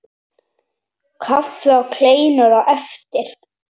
Kaffi og kleinur á eftir.